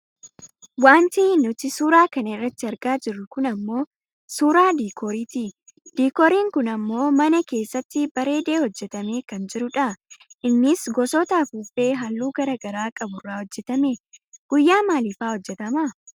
Wanti nuti suura kana irratti argaa jirru kun ammoo suuraa diikooriiti. Diikooriin kun ammoo mana keessatti bareedee hojjatamee kan jirudha. Innis gosoota afuuffee halluu garagaraa qabu irraa hojjatame. Guyyaa maaliifaa hojjatama?